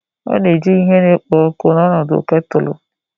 A na-eji ihe na-ekpo ọkụ n'ọnọdụ ketulu